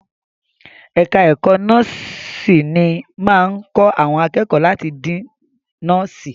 Ẹ̀ka ẹ̀kó nọ́ọ̀sìnì máa ń kọ́ àwọn akẹ́kọ̀ọ́ láti di nọ́ọ̀sì.